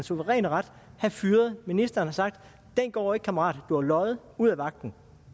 suveræne ret have fyret ministeren og sagt den går ikke kammerat du har løjet ud af vagten